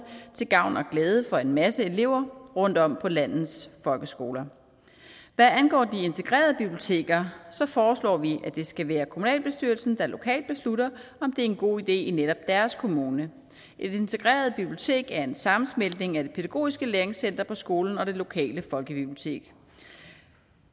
til gavn og glæde for en masse elever rundtom på landets folkeskoler hvad angår de integrerede biblioteker foreslår vi at det skal være kommunalbestyrelsen der lokalt beslutter om det er en god idé i netop deres kommune et integreret bibliotek er en sammensmeltning af det pædagogiske læringscenter på skolen og det lokale folkebibliotek